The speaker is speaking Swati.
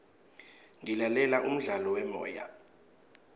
ngilalela umdlalo wemoya